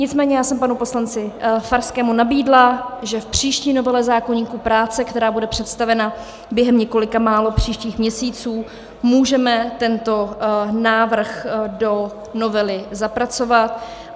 Nicméně já jsem panu poslanci Farskému nabídla, že v příští novele zákoníku práce, která bude představena během několika málo příštích měsíců, můžeme tento návrh do novely zapracovat.